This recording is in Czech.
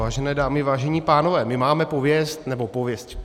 Vážené dámy, vážení pánové, my máme pověst - nebo pověst.